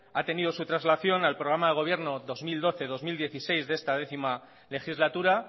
ha tenido su traslación al programa de gobierno dos mil doce dos mil dieciséis de esta décimo legislatura